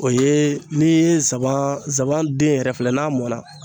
O ye n'i ye zaban den yɛrɛ filɛ n'a mɔna